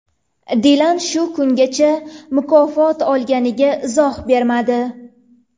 Dilan shu kungacha mukofot olganiga izoh bermadi.